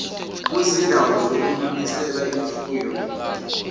kwizindawo zokunonisela imfuyo